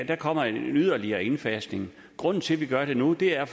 der kommer yderligere en indfasning grunden til vi gør det nu er